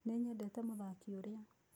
Nĩnyendete mũthaki ũrĩa.